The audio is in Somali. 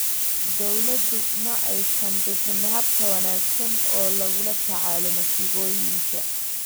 Dawladdu ma aysan bixin hab ka wanaagsan oo lagula tacaalo masiibooyinka.